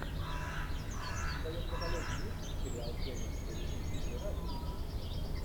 в твоем каталоге есть сериал кевин спейси игры разума